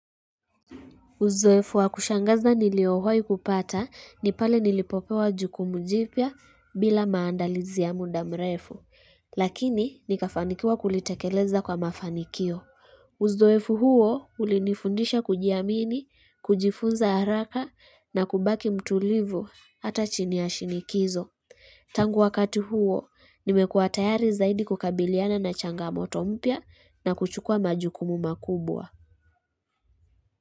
Uzoefu wa kushangaza niliowahi kupata ni pale nilipopewa jukumu jipya bila maandalizi ya muda mrefu, lakini nikafanikiwa kulitekeleza kwa mafanikio. Uzoefu huo ulinifundisha kujiamini, kujifunza haraka na kubaki mtulivu hata chini ya shinikizo. Tangu wakati huo, nimekuwa tayari zaidi kukabiliana na changamoto mpya na kuchukua majukumu makubwa.